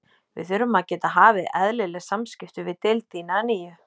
Við þurfum að geta hafið eðlileg samskipti við deild þína að nýju